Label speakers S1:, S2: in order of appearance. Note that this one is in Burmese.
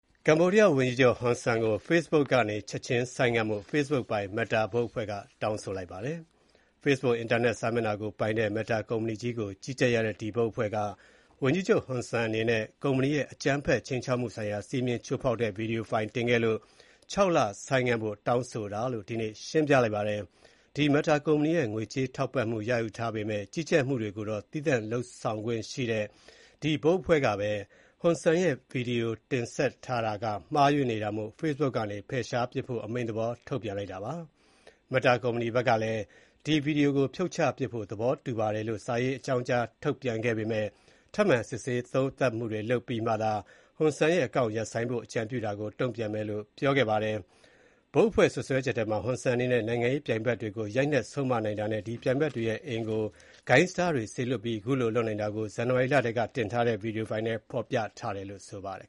S1: ကမ္ဘောဒီးယား ဝန်ကြီးချုပ် Hun Sen ကို Facebook ကနေ ချက်ချင်းဆိုင်းငံဖို့ Facebook ပိုင် Meta ဘုတ်အဖွဲ့က တောင်းဆိုလိုက်ပါတယ်။ Facebook အင်တာနက် စာမျက်နှာကို ပိုင်ဆိုင်တဲ့ Meta ကုမ္ပဏီကြီးကို ကြီးကြပ်ရတဲ့ ဒီဘုတ်အဖွဲ့က ဝန်ကြီးချုပ် Hun Sen အနေနဲ့ ကုမ္ပဏီရဲ့ အကြမ်းဖက်ခြိမ်းခြောက်မှုဆိုင်ရာစည်းမျဉ်းချိုးဖောက်တဲ့ ဗွီဒီယိုဖိုင်တင်ခဲ့လို့ ၆ လ ဆိုင်းငံဖို့ တောင်းဆိုတာလို့ ဒီနေ့ ရှင်းပြလိုက်ပါတယ်။ ဒီ Meta ကုမ္ပဏီရဲ့ ငွေကြေးထောက်ပံ့မှုယူထားရပေမဲ့၊ ကြီးကြပ်မှုတွေကို သီးသန့်လွတ်လပ်စွာ လုပ်ဆောင်ခွင့်ရထားတဲ့ အခုဘုတ်အဖွဲ့ကပဲ Hun Sen ရဲ့ ဗွီဒီယို ဆက်တင်ထားတာက မှားယွင်းနေတာမို့ Facebook ကနေ ဖယ်ရှားပစ်ဖို့ အမိန့်သဘော ထုတ်ပြန်လိုက်တာပါ။ Meta ဘက်ကလည်း ဒီဗွီဒီယိုကို ဖြုတ်ချပစ်ဖို့ သဘောတူပါတယ်လို့ စာရေး အကြောင်းကြား ထုတ်ပြန်ခဲ့ပေမဲ့၊ ထပ်မံစစ်ဆေးသုံးသပ်မှုတွေလုပ်ပြီးမှသာ၊ Hun Sen ရဲ့ အကောင့်ရပ်ဆိုင်းဖို့ အကြံပြုတာကို တုံ့ပြန်မယ်လို့ ပြောခဲ့ပါတယ်။ ဘုတ်အဖွဲ့ စွပ်စွဲချက်ထဲမှာ Hun Sen အနေနဲ့ နိုင်ငံရေး ပြိုင်ဖက်တွေကို ရိုက်နှက်ဆုံးမနိုင်တာနဲ့ ဒီပြိုင်ဘက်တွေရဲ့ အိမ်ကို ဂိုဏ်းအဖွဲ့တွေ စေလွှတ်ပြီးခုလိုလုပ်နိုင်တာကို ဇန်နဝါရီလထဲက တင်ထားတဲ့ ဗွီဒီယိုဖိုင်ထဲ ဖော်ပြထားတယ်လို့ ဆိုပါတယ်